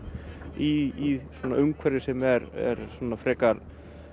í umhverfi sem er